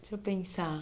Deixa eu pensar.